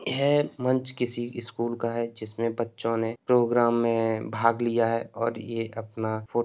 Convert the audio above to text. यह मंच किसी स्कूल का है। जिसमे बच्चों ने प्रोग्राम मे भाग लिया है और ये अपना फोटो --